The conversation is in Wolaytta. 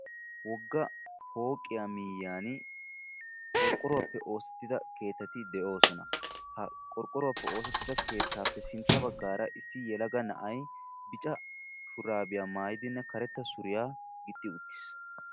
wogga pooqiya miyiyyaan qorqqoruwaappe oosetida keettati de'oosona; ha qorqqoruwappe oosetidda keettaappe sintta baggara issi yelaga na'ay biccca shurabiyaa mayyidinne kareta suriyaa gixxi uttiis